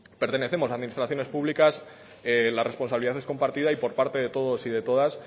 pertenecemos a administraciones públicas la responsabilidad es compartida y por parte de todos y de todas